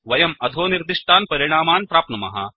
वयम् अधोनिर्दिष्टान् परिणामान् प्राप्नुमः